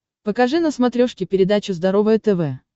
покажи на смотрешке передачу здоровое тв